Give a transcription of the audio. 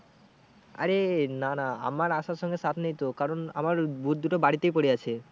আরে না না আমার আসার সঙ্গে চাপ নেই তো কারণ আমার boot দুটো বাড়িতেই পরে আছে।